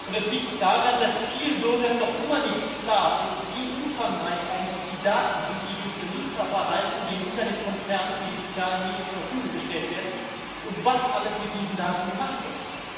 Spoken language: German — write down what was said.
Das liegt daran, dass vielen Bürgern noch immer nicht klar ist, wie umfangreich eigentlich die Daten sind, die durch ihr Nutzerverhalten den Internetkonzernen, den sozialen Medien zur Verfügung gestellt werden und was alles mit diesen Daten gemacht wird.